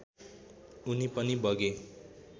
उनी पनि बगे